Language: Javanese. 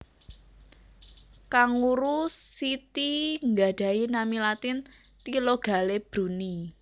Kanguru siti nggadhahi nami Latin Thylogale Brunni